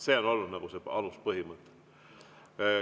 See on olnud see aluspõhimõte.